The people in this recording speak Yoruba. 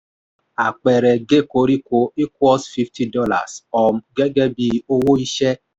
àpẹẹrẹ: gé koríko equals fifty dollars um gẹ́gẹ́ bí owó iṣẹ́.